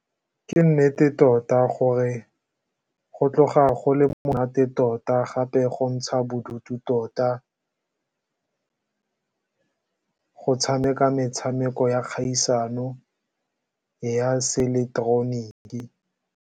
Ke nnete tota gore go tloga go le monate tota gape go ntsha bodutu tota go tshameka metshameko ya kgaisano ya seileketeroniki.